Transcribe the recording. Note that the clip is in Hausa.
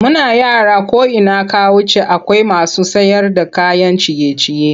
Muna yara ko ina ka wuce akwai masu sayarda kayan ciye-ciye.